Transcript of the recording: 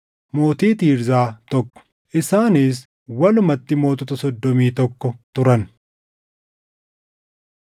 mootii Tiirzaa, tokko. Isaanis walumatti mootota soddomii tokko turan.